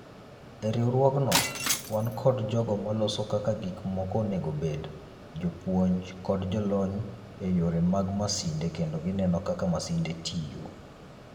Eriwruogno, wankod jogo maloso kaka gik moko onego obed, jopuonj, kod jolony eyore mag masinde kendo gineno kaka masinde tiyo.